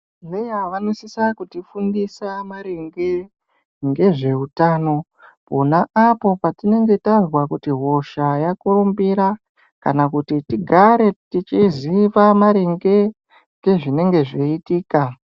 Meya vanosisa kuti fundisa maringe ngezveutano pona apo patinenge tazwa kuti hosha yakurumbira kana kuti tigare tichiziva maringe ngezvinenge zveiitika.